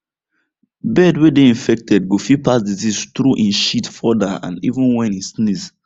bird way they infected go fit pass disease through em shit further and even when em sneeze